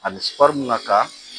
A bɛ na ka